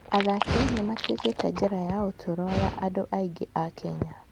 Athaki nĩ matuĩkĩte njĩra ya ũtũũro ya andũ aingĩ a Kenya.